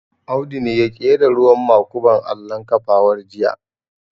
Audu ne ya ƙera ruwan makuban allon kafawar jiya